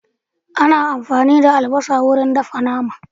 Ana amfani da albasa wurin dafa nama.